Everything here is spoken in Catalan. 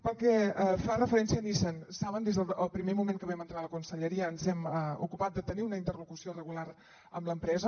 pel que fa referència a nissan saben que des del primer moment que vam entrar a la conselleria ens hem ocupat de tenir una interlocució regular amb l’empresa